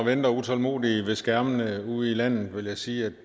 venter utålmodigt ved skærmene ude i landet vil jeg sige at